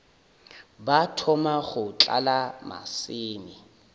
ba thoma go tlala maseme